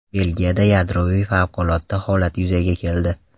Belgiyada yadroviy favqulodda holat yuzaga keldi.